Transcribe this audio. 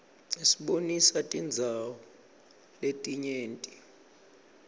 isibonisa tindzawo letinyenti